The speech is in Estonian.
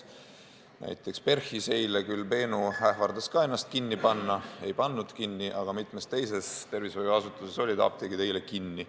Näiteks PERH-is eile Benu küll ähvardas ka ennast kinni panna, aga ei pannud kinni, samas mitmes teises tervishoiuasutuses olid apteegid kinni.